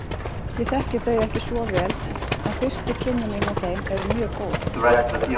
Ég þekki þau ekki svo vel en fyrstu kynni mín af þeim eru mjög góð.